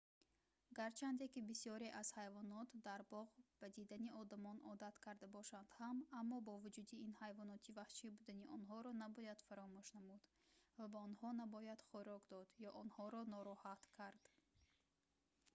гарчанде ки бисёре аз ҳайвонот дар боғ ба дидани одамон одат карда бошанд ҳам аммо бо вуҷуди ин ҳайвоноти ваҳшӣ будани онҳоро набояд фаромӯш намуд ва ба онҳо набояд хӯрок дод ё онҳоро нороҳат кард